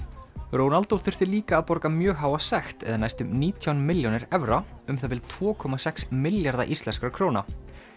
Ronaldo þurfti líka að borga mjög háa sekt eða næstum nítján milljónir evra um það bil tvo komma sex milljarða íslenskra króna